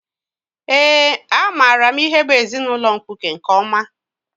Eé, amaara m ihe bụ ezinaụlọ mkpuke nke ọma.